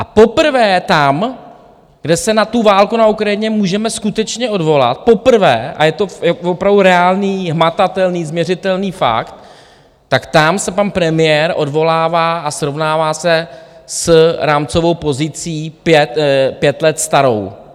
A poprvé tam, kde se na tu válku na Ukrajině můžeme skutečně odvolat, poprvé, a je to opravdu reálný, hmatatelný, změřitelný fakt, tak tam se pan premiér odvolává a srovnává se s rámcovou pozicí pět let starou.